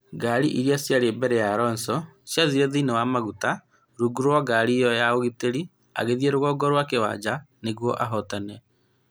Ngari iria ciarĩ mbere ya Alonso ciathire thĩinĩ wa maguta rungu rwa ngari ĩyo ya ũgitĩri, agĩthĩĩ rũgongo rwa kĩwanja nĩguo ahotane.